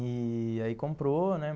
E aí comprou, né?